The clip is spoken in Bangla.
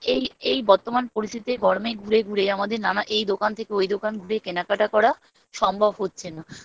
আম এই বর্তমান পরিস্থিতিতে গরমে ঘুরে ঘুরে আমাদের নানা এই দোকান থেকে ওই দোকান ঘুরে কেনাকাটা করা সম্ভব হচ্ছে না